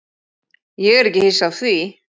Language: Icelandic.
Ég er ekki hissa á því.